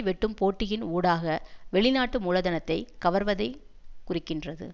வெட்டும் போட்டியின் ஊடாக வெளிநாட்டு மூலதனத்தை கவர்வதை குறிக்கின்றது